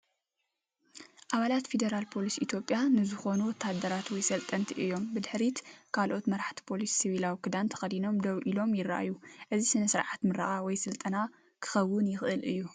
ኣባላት ፌደራል ፖሊስ ኢትዮጵያ ዝኾኑ ወተሃደራት ወይ ሰልጠንቲ እዮም። ብድሕሪት ካልኦት መራሕቲ ፖሊስ ሲቪላዊ ክዳን ተኸዲኖም ደው ኢሎም ይረኣዩ። እዚ ስነ-ስርዓት ምረቓ ወይ ስልጠና ክኸውን ይኽእል እዩ።